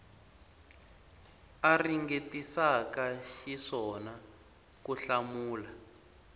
a ringetisaka xiswona ku hlamula